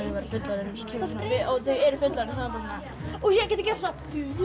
væru fullorðin og þau eru fullorðin ég gæti gert svona